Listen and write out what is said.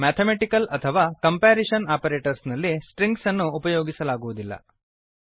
mathematical ಅಥವಾ comparison operators ನಲ್ಲಿ strings ಅನ್ನು ಉಪಯೋಗಿಸಲಾಗುವುದಿಲ್ಲ